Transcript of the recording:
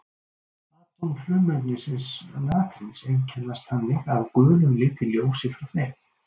Atóm frumefnisins natríns einkennast þannig af gulum lit í ljósi frá þeim.